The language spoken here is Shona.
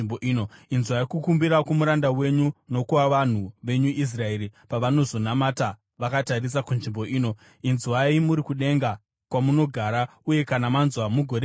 Inzwai kukumbira kwomuranda wenyu, nokwavanhu venyu Israeri pavanozonamata vakatarisa kunzvimbo ino. Inzwai muri kudenga kwamunogara, uye kana manzwa mugoregerera.